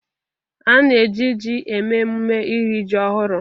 Ana eji ji eme emume iri ji ọhụrụ.